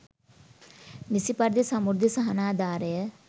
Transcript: නිසි පරිදි සමෘද්ධි සහනාධාරය